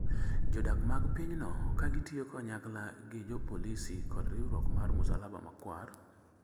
jodak mag pinyno ka gitiyo kanyakla gi jopolisi kod riwruok mar Musalaba Makwar,